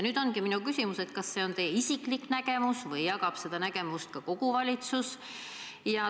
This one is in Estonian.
Nüüd ongi minu küsimus, kas see on teie isiklik nägemus või jagab seda nägemust ka kogu valitsus.